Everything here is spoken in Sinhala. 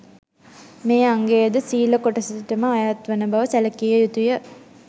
මේ අංගය ද සීල කොටසටම අයත්වන බව සැලකිය යුතු ය